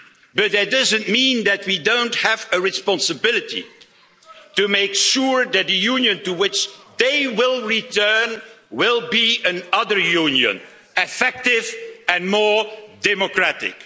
that. But that doesn't mean that we don't have a responsibility to make sure that the Union to which they will return will be another Union, effective and more democratic.